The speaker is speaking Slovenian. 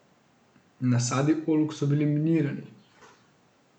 Nasadi oljk so bili minirani.